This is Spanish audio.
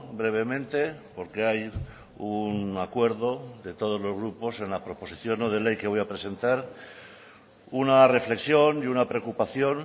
brevemente porque hay un acuerdo de todos los grupos en la proposición no de ley que voy a presentar una reflexión y una preocupación